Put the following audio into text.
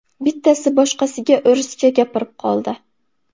Bittasi boshqasiga o‘rischa gapirib qoldi.